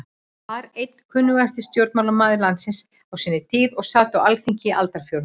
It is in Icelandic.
var einn kunnasti stjórnmálamaður landsins á sinni tíð og sat á Alþingi í aldarfjórðung.